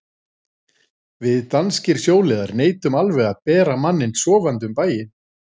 Við danskir sjóliðar neitum alveg að bera manninn sofandi um bæinn.